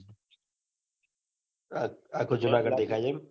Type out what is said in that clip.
આખું જુનાગઢ દેખાય છે એમ